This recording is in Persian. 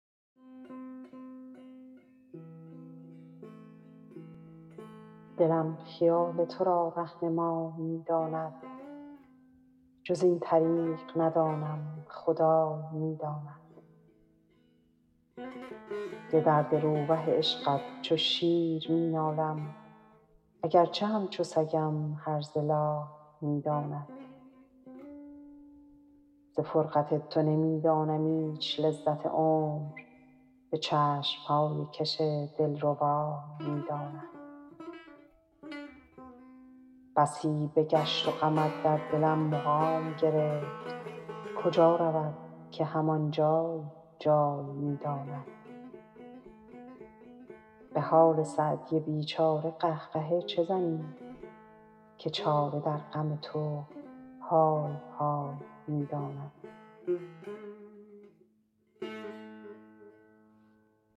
دلم خیال تو را رهنمای می داند جز این طریق ندانم خدای می داند ز درد روبه عشقت چو شیر می نالم اگر چه همچو سگم هرزه لای می داند ز فرقت تو نمی دانم ایچ لذت عمر به چشم های کش دل ربای می داند بسی بگشت و غمت در دلم مقام گرفت کجا رود که هم آن جای جای می داند به حال سعدی بی چاره قه قهه چه زنی که چاره در غم تو های های می داند